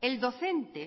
el docente